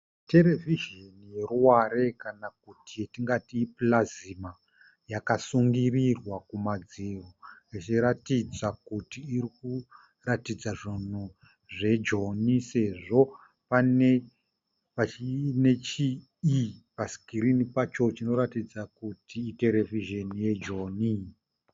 Television yeruware kana kuti yatingati Plasma. Yakasungirirwa kumadziro ichiratidza kuti irikuratidza zvinhu zve Joni sezvo pane chi e pa screen pacho chinoratidza kuti i television ye Joni.